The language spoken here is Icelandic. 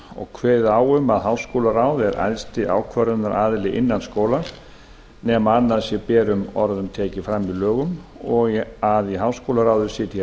og kveðið á um að háskólaráð sé æðsti ákvörðunaraðili innan skólans nema annað sé berum orðum tekið fram í lögum og að í háskólaráði sitji